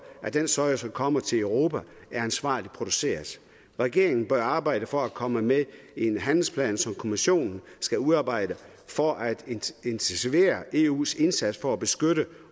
at den soja som kommer til europa er ansvarligt produceret regeringen bør arbejde for at komme med i en handlingsplan som kommissionen skal udarbejde for at intensivere eus indsats for at beskytte